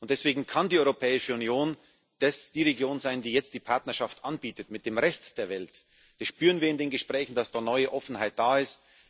Und deswegen kann die Europäische Union die Region sein, die jetzt die Partnerschaft mit dem Rest der Welt anbietet. Wir spüren in den Gesprächen, dass eine neue Offenheit da ist.